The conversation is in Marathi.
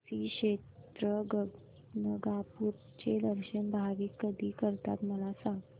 श्री क्षेत्र गाणगापूर चे दर्शन भाविक कधी करतात मला सांग